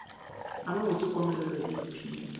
a mabose komelelo e iphile